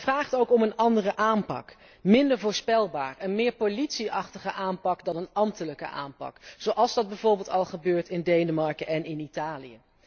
Maar het vraagt ook om een andere aanpak, minder voorspelbaar, een meer politie achtige aanpak dan een ambtelijke aanpak, zoals dat bijvoorbeeld al gebeurt in Denemarken en in Italië.